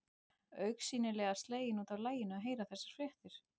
Augsýnilega slegin út af laginu að heyra þessar fréttir.